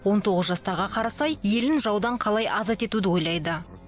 он тоғыз жастағы қарасай елін жаудан қалай азат етуді ойлайды